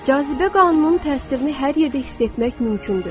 Cazibə qanununun təsirini hər yerdə hiss etmək mümkündür.